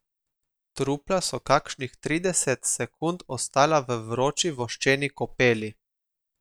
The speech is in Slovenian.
Trupla so kakšnih trideset sekund ostala v vroči voščeni kopeli.